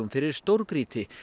fyrir stórgrýti